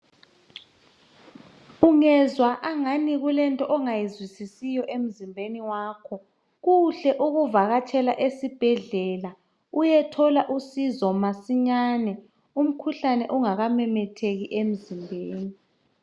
Ungezwa angani kulento ongayizwisisiyo emzimbeni wakho kuhle ukuvakatshela esibhedlela uyethola usizo masinyane umkhuhlane ungakamemetheki emzimbeni.